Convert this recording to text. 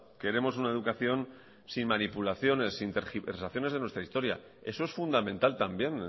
queremos una educación sin manipulaciones sin tergiversaciones de nuestra historia eso es fundamental también